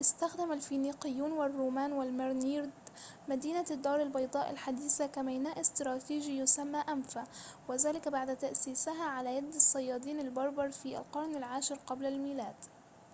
استخدم الفينيقيون والرومان والمرينيد مدينة الدار البيضاء الحديثة كميناء استراتيجي يسمى أنفا وذلك بعد تأسيسها على يد الصيادين البربر في القرن العاشر قبل الميلاد